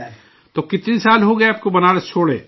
تو کتنے سال ہو گئے آپ کو بنارس چھوڑے؟